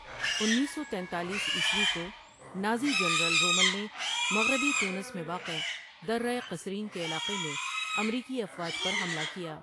انیس سو تینتالیس عیسوی کونازی جنرل رومل نے مغربی تونس میں واقع درۂ قصرین کے علاقے میں امریکی افواج پر حملہ کیا ۔